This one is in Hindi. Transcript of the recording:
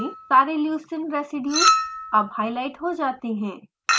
सारे leucine रेज़ीडियुज़ अब हाईलाइट हो जाते हैं